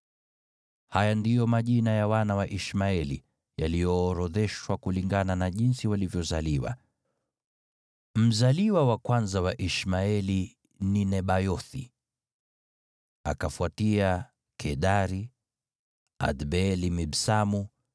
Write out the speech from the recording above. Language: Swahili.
Haya ndiyo majina ya wana wa Ishmaeli, yaliyoorodheshwa kulingana na jinsi walivyozaliwa: Mzaliwa wa kwanza wa Ishmaeli ni Nebayothi, akafuatia Kedari, Adbeeli, Mibsamu,